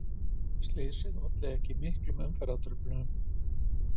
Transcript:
Slysið olli ekki miklum umferðartruflunum